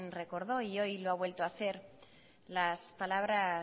recordó y hoy lo ha vuelto a hacer las palabras